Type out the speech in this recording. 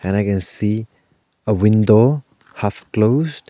And I can see a window half closed.